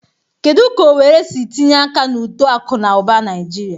Kedu ka Owerri si tinye aka na uto akụ na ụba Naijiria?